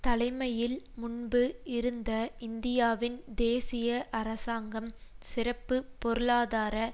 தலைமையில் முன்பு இருந்த இந்தியாவின் தேசிய அரசாங்கம் சிறப்பு பொருளாதார